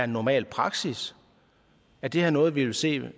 normal praksis er det her noget vi vil se